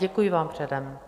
Děkuji vám předem.